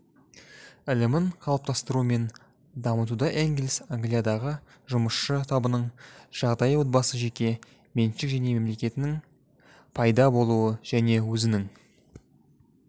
ілімін қалыптастыру мен дамытуда энгельс англиядағы жұмысшы табының жағдайы отбасы жеке меншік және мемлекеттің пайда болуы және өзінің